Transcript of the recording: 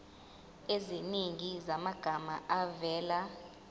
eziningi zamagama avela